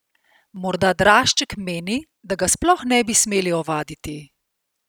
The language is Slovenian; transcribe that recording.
Morda Drašček meni, da ga sploh ne bi smeli ovaditi?